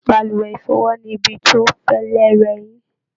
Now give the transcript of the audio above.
Balùwẹ̀ ifọwọ ni ibi ti o fẹlẹ rẹ eyin.